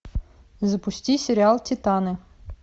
запусти сериал титаны